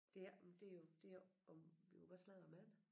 Det er men det jo det jo om vi må godt sladre om andre